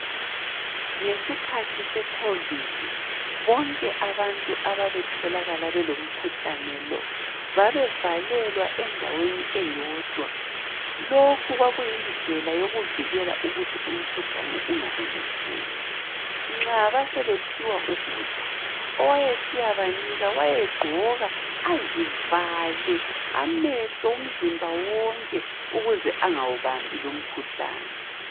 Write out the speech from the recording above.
Ngesikhathi se Covid bonke abantu ababetholakala belomkhuhlane lo babevalelwa endaweni eyodwa. Lokhu kwakuyindlela yokuvikela ukuthi umkhuhlane ungamemetheki, nxa basebephiwa ukudla oweyesiyabanika wayegqoka azivale amehlo, umzimba wonke ukuze angawubambi lumkhuhlane.